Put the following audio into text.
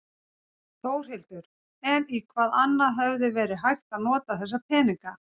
Þórhildur: En í hvað annað hefði verið hægt að nota þessa peninga?